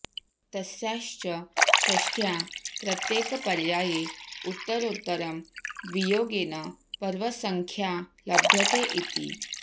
तस्याञ्च षष्ट्या प्रत्येकपर्याये उत्तरोत्तरं द्वियोगेन पर्वसङ्ख्या लभ्यते इति